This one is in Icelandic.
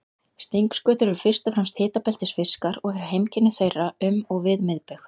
Stingskötur eru fyrst og fremst hitabeltisfiskar og eru heimkynni þeirra um og við miðbaug.